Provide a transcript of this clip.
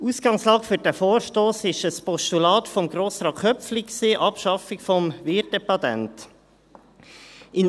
Ausgangslage für diesen Vorstoss ist ein Postulat von Grossrat Köpfli, Abschaffung des Wirtepatents .